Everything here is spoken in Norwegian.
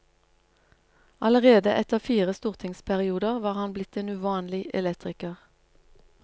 Allerede etter fire stortingsperioder var han blitt en uvanlig elektriker.